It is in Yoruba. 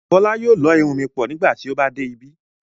Fọla yóò lọ́ irun mi pọ̀ nígbà tí ó bá dé ibí.